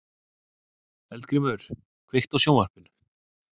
Eldgrímur, kveiktu á sjónvarpinu.